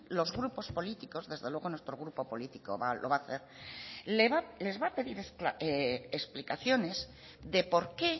los grupos políticos desde luego nuestro grupo político lo va a hacer les va a pedir explicaciones de por qué